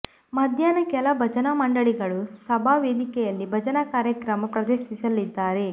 ಮಧ್ಯಾಹ್ನ ಕೆಲ ಭಜನಾ ಮಂಡಳಿಗಳು ಸಭಾ ವೇದಿಕೆಯಲ್ಲಿ ಭಜನಾ ಕಾರ್ಯಕ್ರಮ ಪ್ರದರ್ಶಿಸಲಿದ್ದಾರೆ